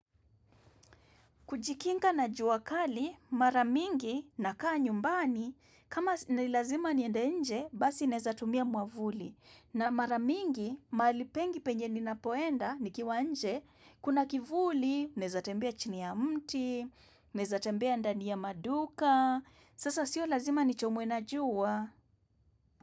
Kujikinga na jua kali, mara mingi nakaa nyumbani, kama nilazima niende nje, basi naezatumia mwavuli. Na mara mingi, mahali pengi penye ninapoenda, nikiwa nje, kuna kivuli, naezatembea chini ya mti, naezatembea ndani ya maduka, sasa sio lazima nichomwe na jua.